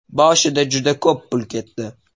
Boshida juda ko‘p pul ketdi.